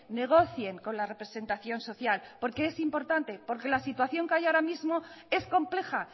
negocien con la representación social porque es importante porque la situación que hay ahora mismo es compleja